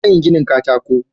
Zan yi ginin katako.